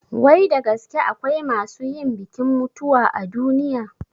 Wai da gaske akwai masu yin bikin mutuwa a duniya?